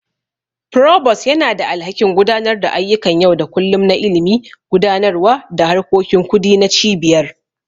Provost yana da alhakin gudanar da ayyukan yau da kullun na Ilimi, Gudanarwa da harkokin Kudi na Cibiyar.